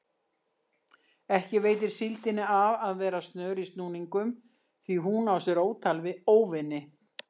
Ekki veitir síldinni af að vera snör í snúningum því hún á sér ótal óvini.